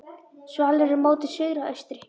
Svalir eru móti suðri og austri.